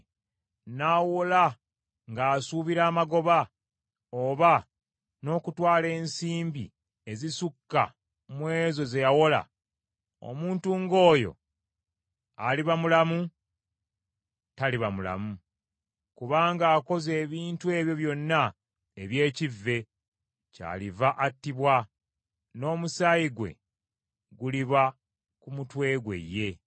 n’awola ng’asuubira amagoba, oba n’okutwala ensimbi ezisukka mu ezo ze yawola; omuntu ng’oyo aliba mulamu? Taliba mulamu. Kubanga akoze ebintu ebyo byonna eby’ekivve, kyaliva attibwa, n’omusaayi gwe guliba ku mutwe gwe ye.